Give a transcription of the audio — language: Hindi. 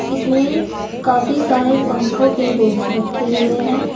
इसमें काफी सारे पंखों के बॉक्स रखे हुए हैं।